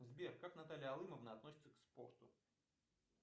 сбер как наталья алымовна относится к спорту